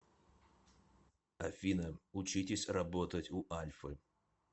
афина учитесь работать у альфы